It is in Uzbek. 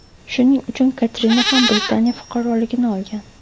Shuning uchun Katrina ham Britaniya fuqaroligini olgan.